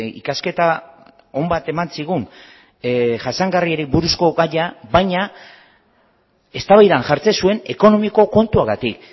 ikasketa on bat eman zigun jasangarriari buruzko gaia baina eztabaidan jartzen zuen ekonomiko kontuagatik